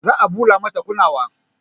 Za a ɓula mata kunnuwa